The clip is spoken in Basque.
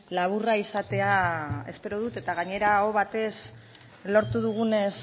laburra izatea espero dut eta gainera aho batez lortu dugunez